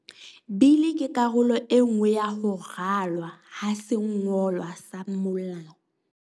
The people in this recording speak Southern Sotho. Bili ke karolo enngwe ya ho ralwa ha sengolwa sa molao.